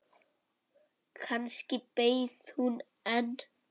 Kannski beið hún enn.